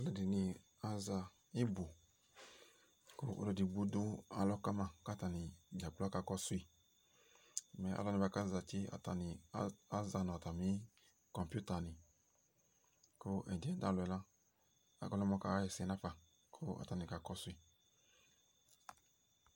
Alʋɛdɩnɩ aza ɩbʋ ,kʋ ɔlʋ edigbo dʋ alɔ kama k'atanɩ dza gblo aka kɔsʋ yɩ Mɛ alʋwani bʋa kezati aza nʋ atamɩ kɔŋpita nɩ Kʋ ɛdɩɛ dʋ alɔ yɛ la ɔka lɛ gomʋ ɔka ɣɛsɛ nafa ,k'atanɩ ka kɔsʋ yɩ